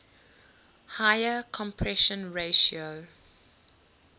higher compression ratio